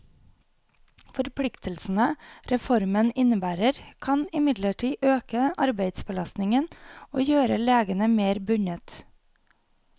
Forpliktelsene reformen innebærer, kan imidlertid øke arbeidsbelastningen og gjøre legene mer bundet.